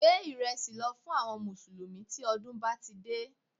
Gbé ìrẹsì lọ fún àwọn mùsùlùmí tí ọdún bá ti dé